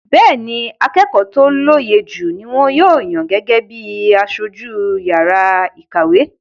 Bẹ́ẹ́ni, akẹ́kọ̀ọ́ tó lóye jù ni wọ́n yàn gẹ́gẹ́ bí i aṣojú yàrá ìkàwé.